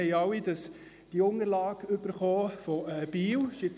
Wir haben alle die Unterlagen von Biel erhalten.